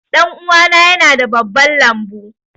Ɗanuwana yana da babban lambu.